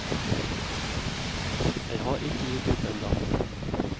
Jeg har ikke gitt opp ennå.